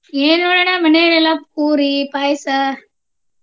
ಏನು ನೋಡ ಅಣ್ಣ ಮನೆಯಲ್ಲಿ ಎಲ್ಲ ಪೂರಿ, ಪಾಯ್ಸ.